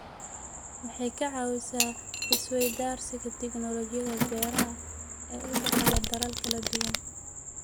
Waxay ka caawisaa is-weydaarsiga tignoolajiyada beeraha ee u dhexeeya dalal kala duwan.